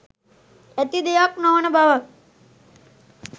ඇති දෙයක් නොවන බව